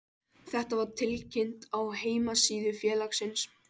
Þetta var tilkynnt á heimasíðu félagsins